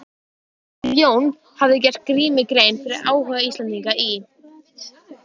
Þegar Jón hafði gert Grími grein fyrir áhuga Íslendinga í